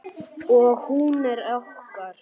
Og hún er okkar.